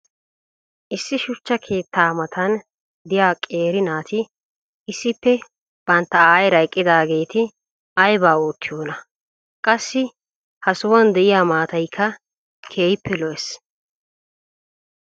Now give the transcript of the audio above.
issi shuchcha keettaa matan diya qeeri naati issippe bantta ayeera eqqidaageeti aybaa oottiyoonaa? qassi ha sohuwan diya maataykka keehi lo'ees.